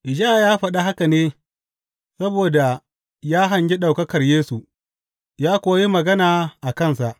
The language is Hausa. Ishaya ya faɗi haka ne, saboda ya hangi ɗaukakar Yesu, ya kuwa yi magana a kansa.